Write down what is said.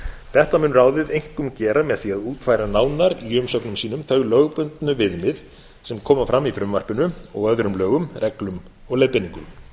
þetta mun ráðið einkum gera með því að útfæra nánar í umsögnum sínum þau lögbundnu viðmið sem koma fram í frumvarpinu og öðrum lögum reglum og leiðbeiningum